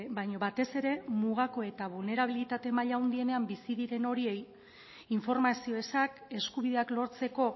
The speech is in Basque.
baina batez ere mugako eta bulnerabilitate maila handienean bizi diren horiei informazio ezak eskubideak lortzeko